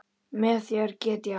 Með þér get ég allt.